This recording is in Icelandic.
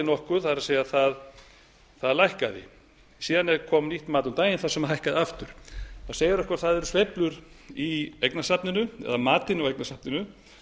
nokkuð það er það lækkaði síðan kom nýtt mat um daginn þar sem það hækkaði aftur það segir okkur að það eru sveiflur í eignasafninu eða matinu á eignasafninu